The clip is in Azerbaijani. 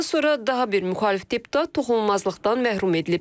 Bundan sonra daha bir müxalif deputat toxunulmazlıqdan məhrum edilib.